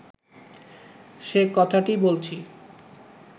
সে কথাটিই বলছি